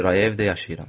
Kirayə evdə yaşayıram.